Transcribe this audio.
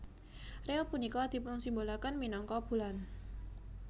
Rea punika dipunsimbolaken minangka bulan